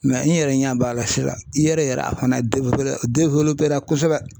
i yɛrɛ ɲɛ b'a la sisan i yɛrɛ a fana kosɛbɛ